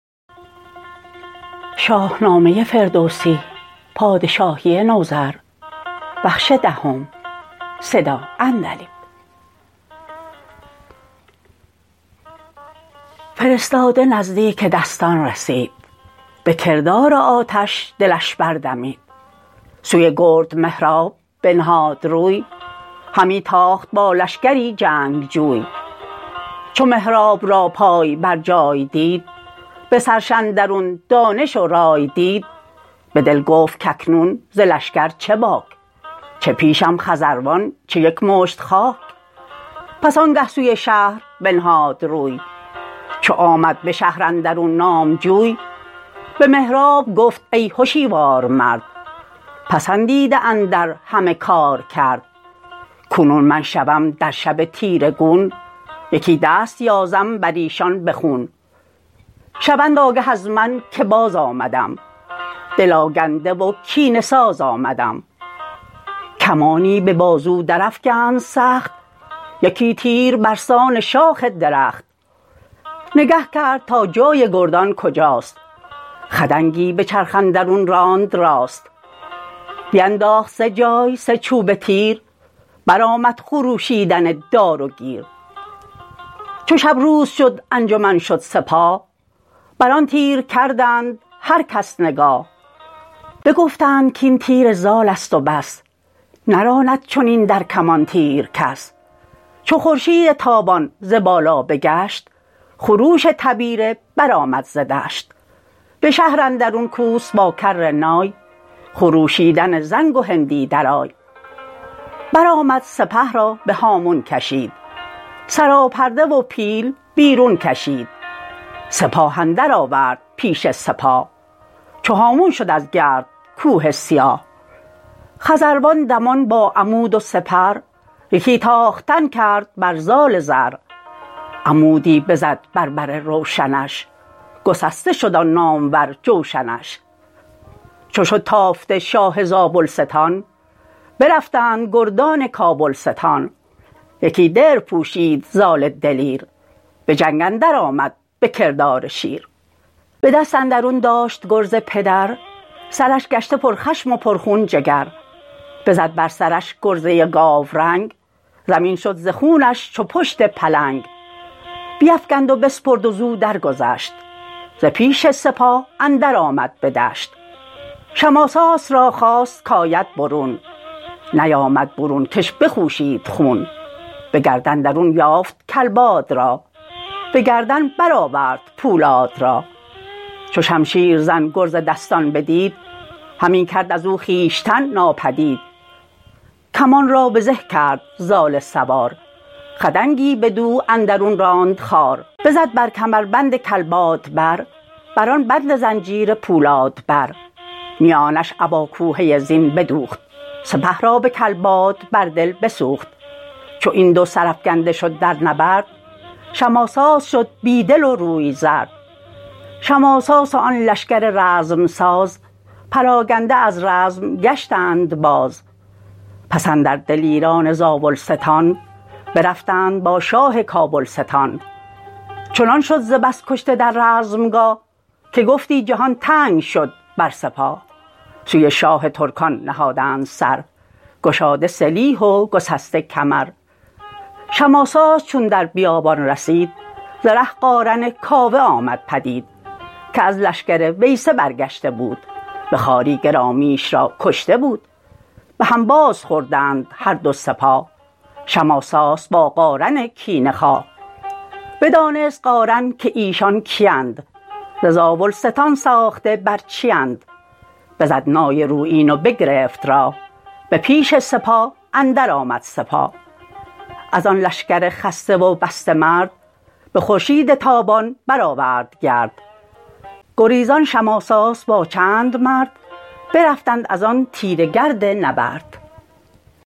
فرستاده نزدیک دستان رسید به کردار آتش دلش بردمید سوی گرد مهراب بنهاد روی همی تاخت با لشکری جنگجوی چو مهراب را پای بر جای دید به سرش اندرون دانش و رای دید به دل گفت کاکنون ز لشکر چه باک چه پیشم خزروان چه یک مشت خاک پس آنگه سوی شهر بنهاد روی چو آمد به شهر اندرون نامجوی به مهراب گفت ای هشیوار مرد پسندیده اندر همه کارکرد کنون من شوم در شب تیره گون یکی دست یازم بریشان به خون شوند آگه از من که بازآمدم دل آگنده و کینه ساز آمدم کمانی به بازو در افگند سخت یکی تیر برسان شاخ درخت نگه کرد تا جای گردان کجاست خدنگی به چرخ اندرون راند راست بینداخت سه جای سه چوبه تیر برآمد خروشیدن دار و گیر چو شب روز شد انجمن شد سپاه بران تیر کردند هر کس نگاه بگفتند کاین تیر زالست و بس نراند چنین در کمان تیر کس چو خورشید تابان ز بالا بگشت خروش تبیره برآمد ز دشت به شهر اندرون کوس با کرنای خروشیدن زنگ و هندی درای برآمد سپه را به هامون کشید سراپرده و پیل بیرون کشید سپاه اندرآورد پیش سپاه چو هامون شد از گرد کوه سیاه خزروان دمان با عمود و سپر یکی تاختن کرد بر زال زر عمودی بزد بر بر روشنش گسسته شد آن نامور جوشنش چو شد تافته شاه زابلستان برفتند گردان کابلستان یکی درع پوشید زال دلیر به جنگ اندر آمد به کردار شیر به دست اندرون داشت گرز پدر سرش گشته پر خشم و پر خون جگر بزد بر سرش گرزه گاورنگ زمین شد ز خونش چو پشت پلنگ بیفگند و بسپرد و زو درگذشت ز پیش سپاه اندر آمد به دشت شماساس را خواست کاید برون نیامد برون کش بخوشید خون به گرد اندرون یافت کلباد را به گردن برآورد پولاد را چو شمشیرزن گرز دستان بدید همی کرد ازو خویشتن ناپدید کمان را به زه کرد زال سوار خدنگی بدو اندرون راند خوار بزد بر کمربند کلباد بر بران بند زنجیر پولاد بر میانش ابا کوهه زین بدوخت سپه را به کلباد بر دل بسوخت چو این دو سرافگنده شد در نبرد شماساس شد بی دل و روی زرد شماساس و آن لشکر رزم ساز پراگنده از رزم گشتند باز پس اندر دلیران زاولستان برفتند با شاه کابلستان چنان شد ز بس کشته در رزمگاه که گفتی جهان تنگ شد بر سپاه سوی شاه ترکان نهادند سر گشاده سلیح و گسسته کمر شماساس چون در بیابان رسید ز ره قارن کاوه آمد پدید که از لشکر ویسه برگشته بود به خواری گرامیش را کشته بود به هم بازخوردند هر دو سپاه شماساس با قارن کینه خواه بدانست قارن که ایشان کیند ز زاولستان ساخته بر چیند بزد نای رویین و بگرفت راه به پیش سپاه اندر آمد سپاه ازان لشکر خسته و بسته مرد به خورشید تابان برآورد گرد گریزان شماساس با چند مرد برفتند ازان تیره گرد نبرد